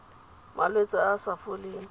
malwetse a a sa foleng